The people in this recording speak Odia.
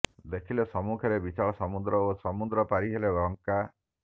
ଦେଖିଲେ ସମ୍ମୁଖରେ ବିଶାଳ ସମୁଦ୍ର ଓ ସମୁଦ୍ର ପାରିହେଲେ ଲଙ୍କା